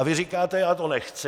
A vy říkáte: Já to nechci.